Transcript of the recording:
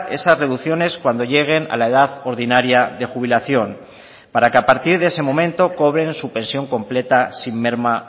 esas reducciones cuando lleguen a la edad ordinaria de jubilación para que a partir de ese momento cobren su pensión completa sin merma